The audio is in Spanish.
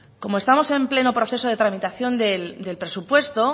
como estamos en pleno proceso de tramitación del presupuesto